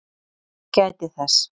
Ég gæti þess.